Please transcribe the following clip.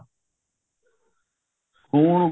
ਖੂਨ